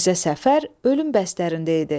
Mirzə Səfər ölüm bəstərində idi.